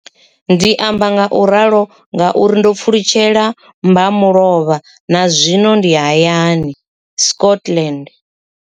Ndi amba ngauralo nga uri ndo pfulutshela mbamulovha na zwino ndi hayani, Scotland.